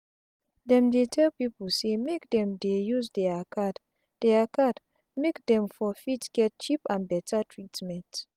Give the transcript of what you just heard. dem dey tell pipu say make dem dey use dia card dia card make dem for fit get cheap and beta treatment